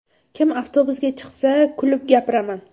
Kim avtobusga chiqsa, kulib gapiraman.